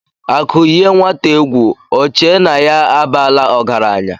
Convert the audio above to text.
Akụ yie nwata egwu Ọ chee na ya abaala ọgaranya.